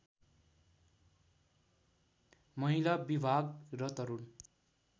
महिला विभाग र तरुण